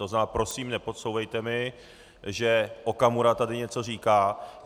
To znamená, prosím, nepodsouvejte mi, že Okamura tady něco říká.